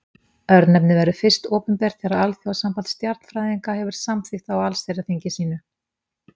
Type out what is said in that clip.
Örnefnið verður fyrst opinbert þegar Alþjóðasamband stjarnfræðinga hefur samþykkt það á allsherjarþingi sínu.